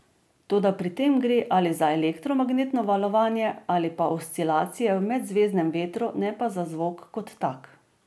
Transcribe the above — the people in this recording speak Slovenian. Toda pri tem gre ali za elektromagnetno valovanje ali pa oscilacije v medzvezdnem vetru, ne pa zvok kot tak.